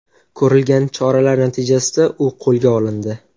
Ko‘rilgan choralar natijasida u qo‘lga olindi .